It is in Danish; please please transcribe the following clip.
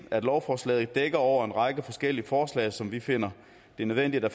da lovforslaget dækker over en række forskellige forslag som vi finder det nødvendigt at